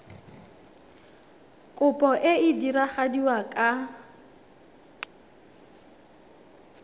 kopo e e diragadiwa ka